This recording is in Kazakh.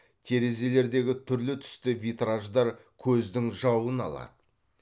терезелердегі түрлі түсті витраждар көздің жауын алады